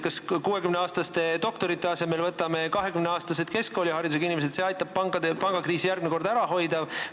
Kas võtame 60-aastaste doktorite asemele 20-aastased keskkooliharidusega inimesed ja see aitab järgmist pangakriisi ära hoida?